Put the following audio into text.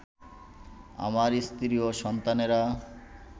আমার স্ত্রী ও সন্তানেরা